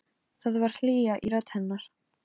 Nú voru þau aftur orðin ein.